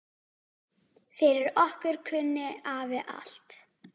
Fyrir okkur kunni afi allt.